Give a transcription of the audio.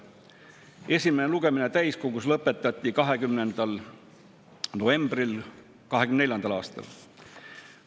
Esimene lugemine täiskogus lõpetati 20. novembril 2024. aastal.